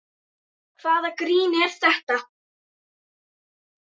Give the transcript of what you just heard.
Hvaða grín er það?